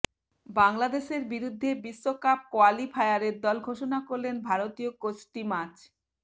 বাংলাদেশের বিরুদ্ধে বিশ্বকাপ কোয়ালিফায়ারের দল ঘোষণা করলেন ভারতীয় কোচ স্টিমাচ